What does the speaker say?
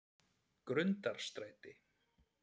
Grundarstræti